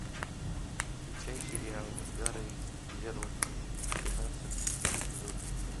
включай сериал га рей зеро тринадцатый эпизод